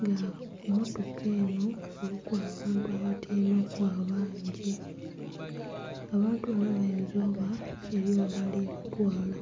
nga ku mmotoka enho kuliku abantu abatyaime ku abangi, abantu banho bayinza oba eriyo yebali batwala.